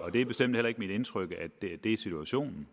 og det er bestemt heller ikke mit indtryk at det er situationen